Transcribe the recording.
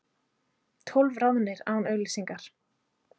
Tólf ráðnir án auglýsingar